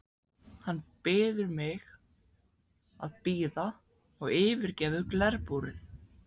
Hann biður mig að bíða og yfirgefur glerbúrið.